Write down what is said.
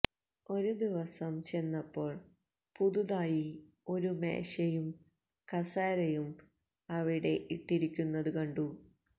ഒരു ദിവസം ചെന്നപ്പോൾ പുതുതായി ഒരു മേശയും കസേരയും അവിടെ ഇട്ടിരിക്കുന്നതുകണ്ടു